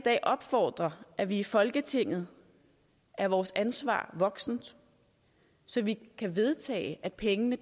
opfordre at vi i folketinget er vores ansvar voksent så vi kan vedtage at pengene